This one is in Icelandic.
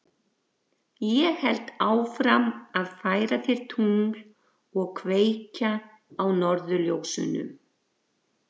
Ég held áfram að færa þér tungl og kveikja á norðurljósunum.